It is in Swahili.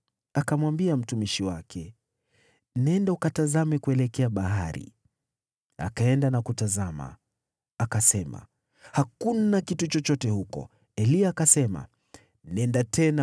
Akamwambia mtumishi wake, “Nenda ukatazame kuelekea bahari.” Akaenda na kutazama. Akasema, “Hakuna kitu chochote huko.” Mara saba Eliya akasema, “Nenda tena.”